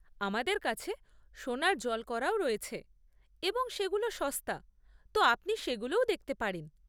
আমাদের কাছে সোনার জল করাও রয়েছে এবং সেগুলো সস্তা, তো আপনি সেগুলোও দেখতে পারেন।